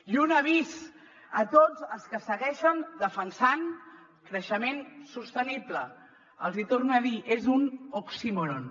i un avís a tots els que segueixen defensant el creixement sostenible els hi torno a dir és un oxímoron